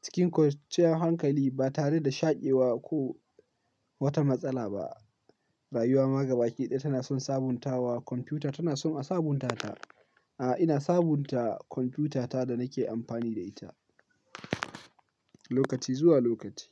cikin kwanciyar hankali ba tare da shaƙewa ko wata matsala ba. Rayuwa ma gaba ki daya tana son sabuntawa kwamfuta, tana son a sabunta ta. A, ina sabunta kwamfutata da nake amfani da ita, lokaci zuwa lokaci.